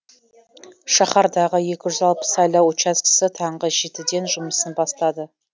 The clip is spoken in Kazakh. шаһардағы екі жүз алпыс сайлау учаскесі таңғы жетіден жұмысын бастады